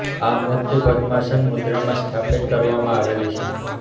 આ મૂર્તિ પદમાસન મુદ્રામાં સ્થાપિત કરવામાં આવેલી છે